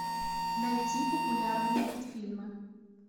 найти популярные мультфильмы